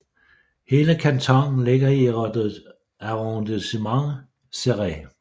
Hele kantonen ligger i Arrondissement Céret